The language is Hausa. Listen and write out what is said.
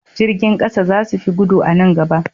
Jirgin ƙasa za su fi gudu a nan gaba.